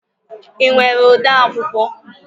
Ị nwere ode akwụkwọ?